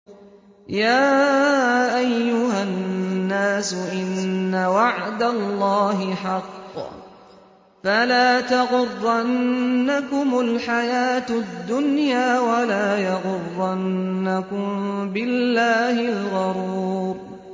يَا أَيُّهَا النَّاسُ إِنَّ وَعْدَ اللَّهِ حَقٌّ ۖ فَلَا تَغُرَّنَّكُمُ الْحَيَاةُ الدُّنْيَا ۖ وَلَا يَغُرَّنَّكُم بِاللَّهِ الْغَرُورُ